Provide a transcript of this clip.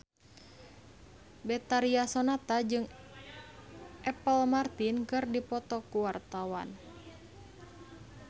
Betharia Sonata jeung Apple Martin keur dipoto ku wartawan